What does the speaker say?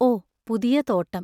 ഓ, പുതിയ തോട്ടം.